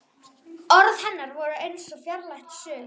Orð hennar voru eins og fjarlægt suð.